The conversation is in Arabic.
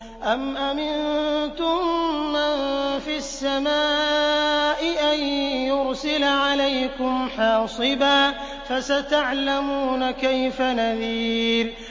أَمْ أَمِنتُم مَّن فِي السَّمَاءِ أَن يُرْسِلَ عَلَيْكُمْ حَاصِبًا ۖ فَسَتَعْلَمُونَ كَيْفَ نَذِيرِ